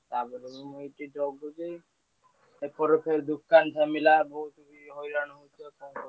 ଏପଟ ସାହି ଦୋକାନ ଥମିଲା ବୋହୁତ ହଇରାଣ ହୋଉଛି ଆଉ କରିବି।